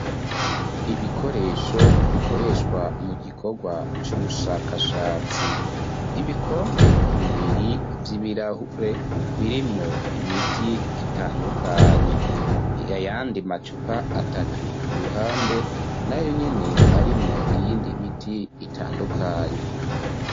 Ibikoresho bikoreshwa mu gikorwa c'ubushakashatsi ibikombe bibiri Vy'ibirahure birimwo imiti itandukanye yayandi macupa atatu ku ruhande nayo nyene arimwo iyindi miti itandukanye.